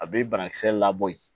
A bɛ banakisɛ labɔ yen